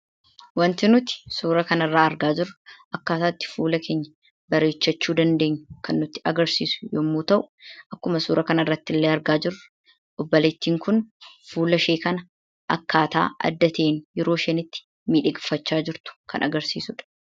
Wanti nuti suura kana irraa argaa jirru akkaataa itti fuula keenya bareechachuu dandeenyu kan nutti agarsiisudha. Akkuma suura kana irratti arginu obboleettiin kun fuula ishee akkaataa adda ta'een yeroo isheen itti miidhagfachaa jirtu kan agarsiisudha.